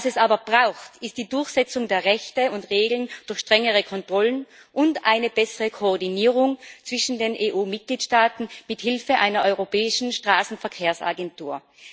Was es aber braucht, ist die Durchsetzung der Rechte und Regeln durch strengere Kontrollen und eine bessere Koordinierung zwischen den EU Mitgliedstaaten mit Hilfe einer europäischen Straßenverkehrsagentur.